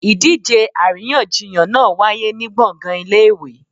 Idíje aríyànjiyàn náá wàyé ni gbọngan ìlé-ìwé